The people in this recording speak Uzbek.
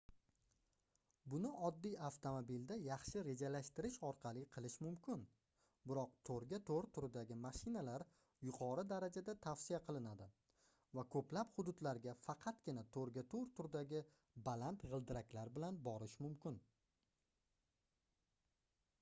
buni oddiy avtomobilda yaxshi rejalashtirish orqali qilish mumkin biroq 4x4 turidagi mashinalar yuqori darajada tavsiya qilinadi va ko'plb hududlarga faqatgina 4x4 turdagi baland g'ildiraklar bilan borish mumkin